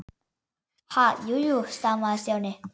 Ha- jú, jú stamaði Stjáni.